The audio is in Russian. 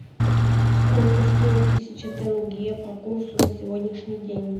сколько стоит тысяча тенге по курсу на сегодняшний день